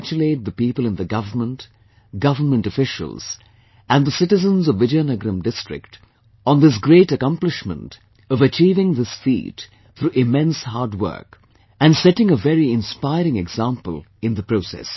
I congratulate the people in the government, government officials and the citizens of Vizianagaram district on this great accomplishment of achieving this feat through immense hard work and setting a very inspiring example in the process